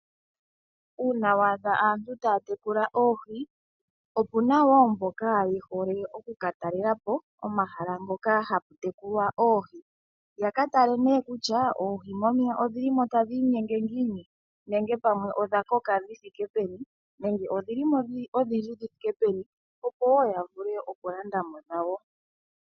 Uuna waadha aantu taya tekula oohi opu na wo mboka ye hole okuka talelapo omahala ngoka hapu tekulwa oohi yaka tale kutya oohi momeya odhilimo ta dhiinyenge ngiini nenge pamwe odha koka dhi thike peni nenge odhilimo odhindji dhi thike peni opo wo ya vule okulandamo dhawo.